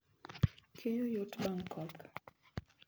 Keyo yot bang' koth